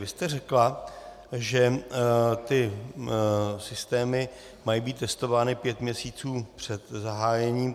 Vy jste řekla, že ty systémy mají být testovány pět měsíců před zahájením.